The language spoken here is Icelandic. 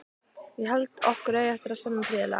Ég held okkur eigi eftir að semja prýðilega.